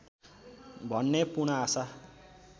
भन्ने पूर्ण आशा